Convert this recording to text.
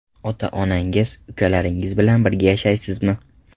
Ota-onangiz, ukalaringiz bilan birga yashaysizmi?